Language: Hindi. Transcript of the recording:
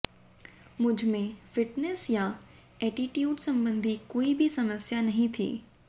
मुझमें फिटनेस या एटीट्यूड संबंधी कोई भी समस्या नहीं थी